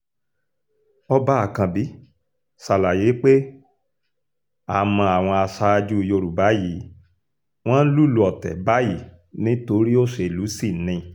ọba ákànbí ṣàlàyé pé a mọ àwọn aṣáájú yorùbá yí wọn ń lùlù ọ̀tẹ̀ báyìí nítorí òṣèlú sì ni